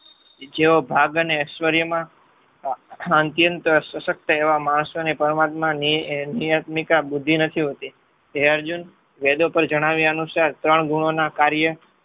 જેવો ભાગને એશ્વરીયમાં એવા માણસોને પરમાત્મા નિયતમિકા બુદ્ધિ નથી હોતી. હે અર્જુન વેદો પણ જણાવ્યા અનુસાર ત્રણ ગુણોના કાર્ય